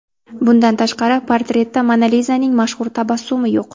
Bundan tashqari, portretda Mona Lizaning mashhur tabassumi yo‘q.